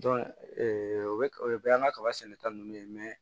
o bɛ o bɛ y'an ka kaba sɛnɛta ninnu ye